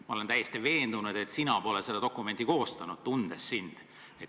Ma olen täiesti veendunud, tundes sind, et sina pole seda dokumenti koostanud.